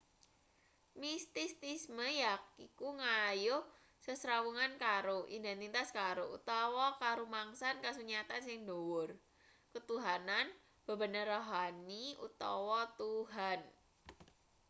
mistisisme yaiku nggayuh sesrawungan karo identitas karo utawa karumangsan kasunyatan sing dhuwur ketuhanan bebener rohani utawa tuhan